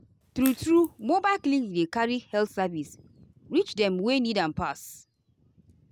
true-true mobile clinic dey carry health service reach dem wey need am pass.